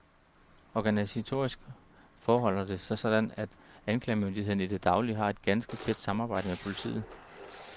Organisatorisk forholder det sig sådan, at anklagemyndigheden i det daglige har et ganske tæt samarbejde med politiet.